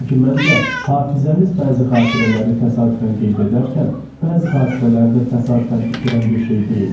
Çünki məncə, hafizəmiz bəzi xatirələri təsadüfən qeyd edərkən, bəzi xatirələri də təsadüfən itirən bir şey deyildi.